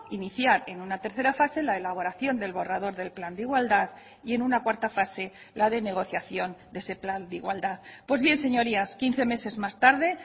iniciar en una tercera fase la elaboración del borrador del plan de igualdad y en una cuarta fase la de negociación de ese plan de igualdad pues bien señorías quince meses más tarde